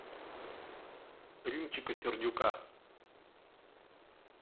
римчика сердюка